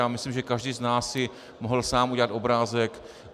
Já myslím, že každý z nás si mohl sám udělat obrázek.